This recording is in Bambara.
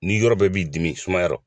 N'i yɔrɔ bɛɛ b'i dimi sumaya rɔ